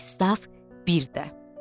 Pristav bir də.